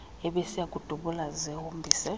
ebeziya kudubula zihombise